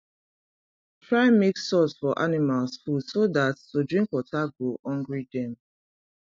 try mix salt for animals food so that to drink water go hungry dem